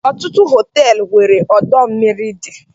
Ọtụtụ Họteelu nwere ọdọ mmiri dị